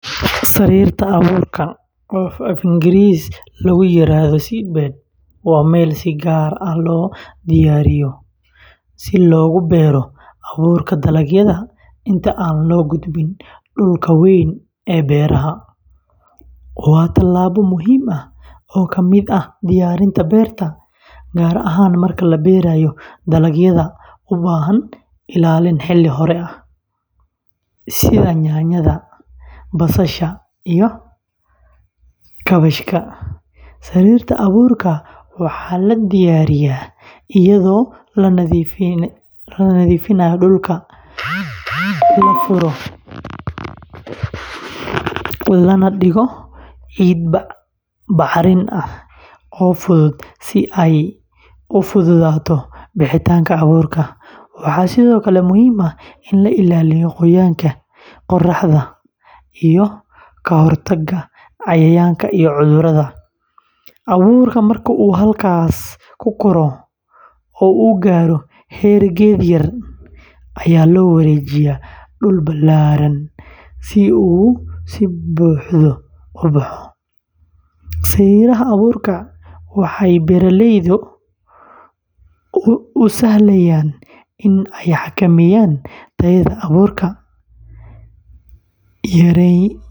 Sariirta abuurka, oo af-Ingiriis lagu yiraahdo seedbed, waa meel si gaar ah loo diyaariyo si loogu beero abuurka dalagyada inta aan loo gudbin dhulka weyn ee beeraha. Waa tallaabo muhiim ah oo ka mid ah diyaarinta beerta, gaar ahaan marka la beeraayo dalagyada u baahan ilaalin xilli hore ah, sida yaanyada, basasha, iyo kaabashka. Sariirta abuurka waxaa la diyaariyaa iyadoo la nadiifiyo dhulka, la furo, lana dhigo ciid bacrin ah oo fudud si ay u fududaato bixitaanka abuurka. Waxaa sidoo kale muhiim ah in la ilaaliyo qoyaanka, qorraxda, iyo ka-hortagga cayayaanka iyo cudurrada. Abuurka marka uu halkaas ku koro oo uu gaaro heer geed yar, ayaa loo wareejiyaa dhul ballaaran si uu si buuxda u baxo. Sariiraha abuurka waxay beeraleyda u sahlayaan in ay xakameeyaan tayada abuurka.